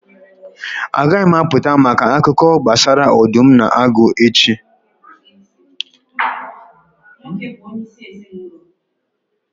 Agaghị m apụta maka akụkọ gbasara ọdụm na agụ echi.